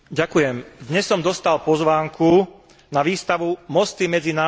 Dnes som dostal pozvánku na výstavu Mosty medzi národmi.